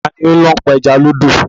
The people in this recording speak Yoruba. Ta ni ó ń lọ pa ẹja lódò?